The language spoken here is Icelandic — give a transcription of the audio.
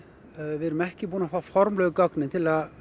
við erum ekki búin að fá formlegu gögnin til að